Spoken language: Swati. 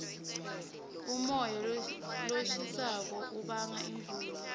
umoya loshisako ubanga imvula